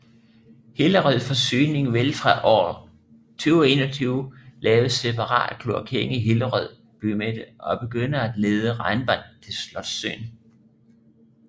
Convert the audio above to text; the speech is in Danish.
Hillerød Forsyning vil fra år 2021 lave separat kloakering i Hillerød bymidte og begynde at lede regnvand til Slotssøen